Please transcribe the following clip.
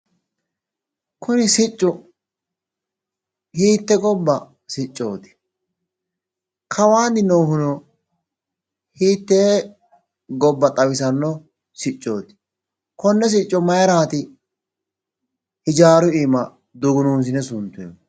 Kuni siccu hiitte gobba siccooti? Kawaanni noohuno hiittee gobba xawisanno siccooti? Konne sicco mayiraati ijaaru iima dugunuunsine suntoyhu?